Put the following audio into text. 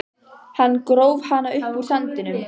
Hann gróf hana upp úr sandinum!